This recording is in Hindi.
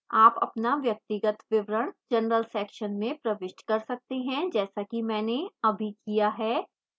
आप अपना व्यक्तिगत विवरण general section में प्रविष्ट कर सकते हैं जैसा कि मैंने अभी किया है